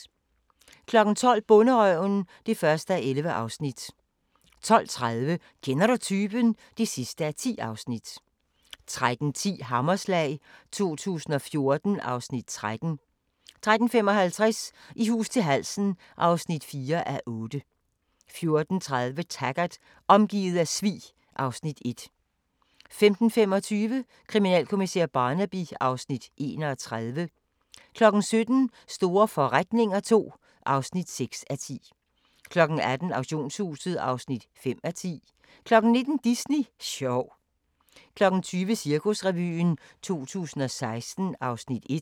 12:00: Bonderøven (1:11) 12:30: Kender du typen? (10:10) 13:10: Hammerslag 2014 (Afs. 13) 13:55: I hus til halsen (4:8) 14:30: Taggart: Omgivet af svig (Afs. 1) 15:25: Kriminalkommissær Barnaby (Afs. 31) 17:00: Store forretninger II (6:10) 18:00: Auktionshuset (5:10) 19:00: Disney sjov 20:00: Cirkusrevyen 2016 (Afs. 1)